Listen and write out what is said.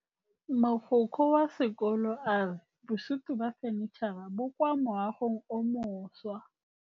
Mogokgo wa sekolo a re bosutô ba fanitšhara bo kwa moagong o mošwa.